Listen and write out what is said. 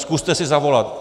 Zkuste si zavolat.